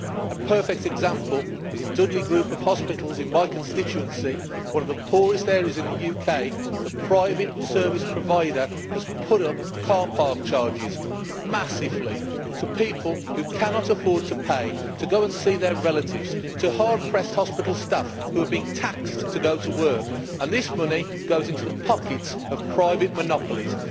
A perfect example is that in the Dudley Group of Hospitals in my constituency one of the poorest areas in the UK the private service provider has put up car park charges massively for people who cannot afford to pay to go and see their relatives and for hard pressed hospital staff who are being taxed to go to work. This money goes into the pockets of private monopolies.